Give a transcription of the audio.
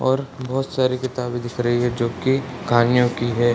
और बहोत सारी किताबें दिख रही है जो की कहानियों की है।